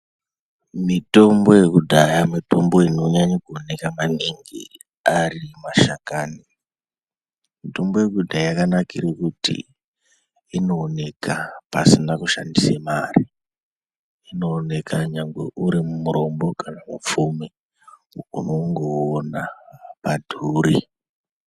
Mitombo yekudhaya mitombo inonyaye kuoneka maningi ari mashakani mitombo yekudhaya yakanakire kuti inooneka pasina kushandise mare inooneka nyangwe uri murombo kana mupfumi unondoona haudhuri.